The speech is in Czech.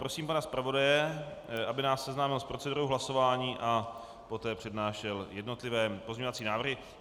Prosím pana zpravodaje, aby nás seznámil s procedurou hlasování a poté přednášel jednotlivé pozměňovací návrhy.